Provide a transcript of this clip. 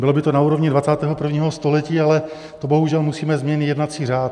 Bylo by to na úrovni 21. století, ale to bohužel musíme změnit jednací řád.